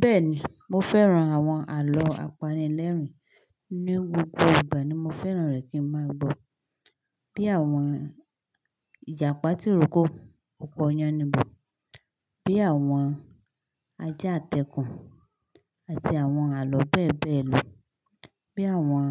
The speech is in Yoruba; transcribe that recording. Bẹ́ẹ̀ni, mo fẹ́ran àwọn àlọ́ apanilẹ́rìn ní gbogbo ìgbà ni mo fẹ́ràn rẹ̀ kí n máa gbọ́. Bí àwọn Ìjàpá tí iroko, oko oyánibọ̀, bí àwọn ajá àtẹ̀kùn àti àwọn àlọ́ bẹ́ẹ̀ bẹ́ẹ̀ lọ, bí àwọn